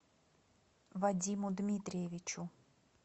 вадиму дмитриевичу